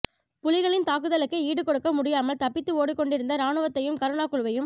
புலிகளின் தாக்குதலுக்கு ஈடுகொடுக்க முடியாமல் தப்பித்து ஓடிக்கொண்டிருந்த இராணுவத்தையும் கருணா குழுவையும்